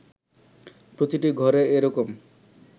প্রতিটি ঘরে এরকম